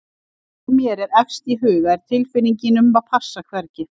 Það sem mér er efst í huga er tilfinningin um að passa hvergi.